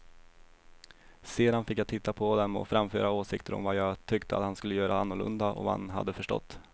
Sedan fick jag titta på dem och framföra åsikter om vad jag tyckte att han skulle göra annorlunda och vad han hade förstått.